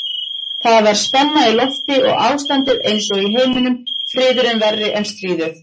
Það var spenna í lofti og ástandið einsog í heiminum, friðurinn verri en stríðið.